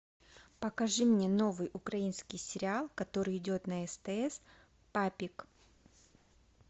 покажи мне новый украинский сериал который идет на стс папик